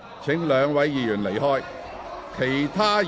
請兩位議員離開會議廳。